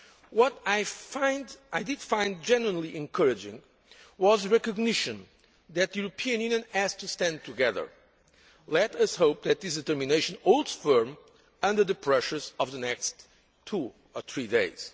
What I did find generally encouraging was recognition that the European Union has to stand together. Let us hope that this determination holds firm under the pressures of the next two or three